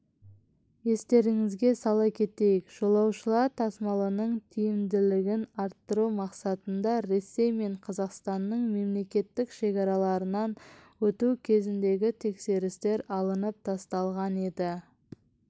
естеріңізге сала кетейік жолаушылар тасымалының тиімділігін арттыру мақсатында ресей мен қазақстанның мемлекеттік шекараларынан өту кезіндегі тексерістер алынып тасталған еді